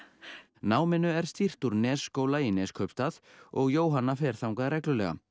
náminu er stýrt úr Nesskóla í Neskaupstað og Jóhanna fer þangað reglulega